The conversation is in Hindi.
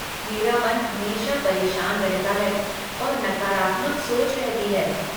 मेरा मन हमेशा परेशान रहता है और नकारात्मक सोच रहती है।